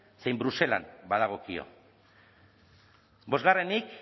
zein bruselan badagokio bosgarrenik